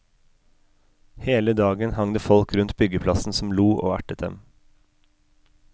Hele dagen hang det folk rundt byggeplassen som lo og ertet dem.